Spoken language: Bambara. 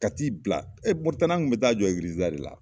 Ka t'i bila Moritani an kun bɛ taa jɔ egilizi da de la.